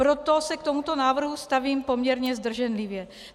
Proto se k tomuto návrhu stavím poměrně zdrženlivě.